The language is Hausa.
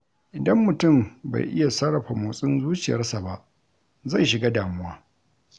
Idan mutum bai iya sarrafa motsin zuciyarsa ba, zai shiga damuwa.